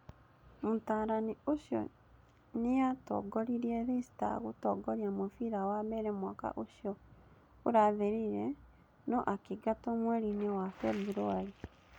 Mũtaliani ũcio nĩatongoririe Leicester gũtooria mũbira wa mbere mwaka ũcio ũrathirire no akĩingatwo mweri-inĩ wa Februarĩ.